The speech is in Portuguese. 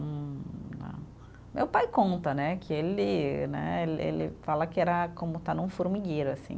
Hum ah, meu pai conta, né, que ele né, ele fala que era como estar num formigueiro, assim.